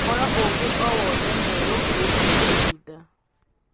Ūhoro ūgi o wothe mwerū wīgie mutinda